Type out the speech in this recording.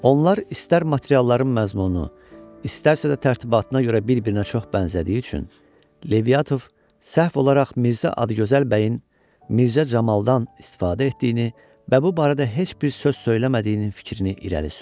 Onlar istər materialların məzmunu, istərsə də tərtibatına görə bir-birinə çox bənzədiyi üçün Levşatov səhv olaraq Mirzə Adıgözəl bəyin Mirzə Camaldan istifadə etdiyini və bu barədə heç bir söz söyləmədiyinin fikrini irəli sürür.